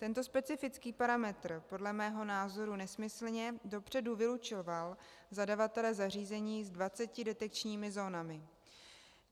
Tento specifický parametr podle mého názoru nesmyslně dopředu vylučoval zadavatele zařízení s 20 detekčními zónami.